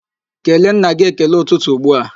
Kelee nna gị ekele ụtụtụ ugbua!